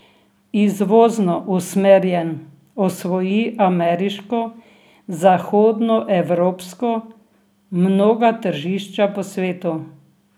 Izvozno usmerjen osvoji ameriško, zahodnoevropsko, mnoga tržišča po svetu.